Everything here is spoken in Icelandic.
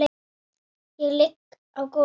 Ég ligg á gólfi.